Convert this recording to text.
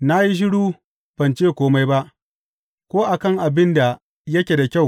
Na yi shiru, ban ce kome ba, Ko a kan abin da yake da kyau!